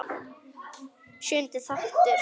Sjöundi þáttur